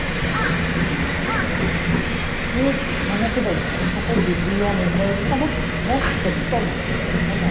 ଆରେ ମାନେ କେବେ ସେପଟେ ଦିଲ୍ଲୀ ଯା ମୁମ୍ବାଇ ଯିବୁ ନା but ବହୁତ extra life ହେଲା